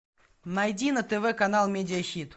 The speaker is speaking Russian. найди на тв канал медиа хит